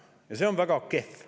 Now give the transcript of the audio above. Ja see on väga kehv.